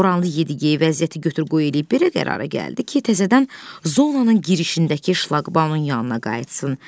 Boranlı Yedi-gey vəziyyəti götür-qoy eləyib belə qərara gəldi ki, təzədən zonanın girişindəki şlaqbaumun yanına qayıtsın.